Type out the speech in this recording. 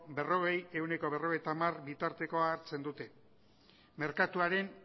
berrogeia ehuneko berrogeita hamara bitartekoa hartzen dute merkatuaren